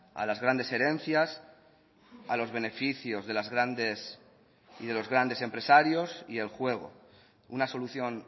a las grandes herencias a los beneficios de los grandes empresarios y el juego una solución